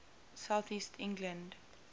south east england